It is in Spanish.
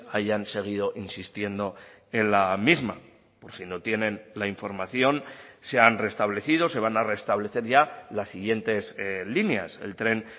hayan seguido insistiendo en la misma por si no tienen la información se han restablecido se van a restablecer ya las siguientes líneas el tren